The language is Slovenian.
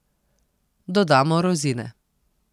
Dodamo rozine.